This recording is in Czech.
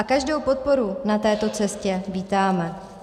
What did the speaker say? A každou podporu na této cestě vítáme.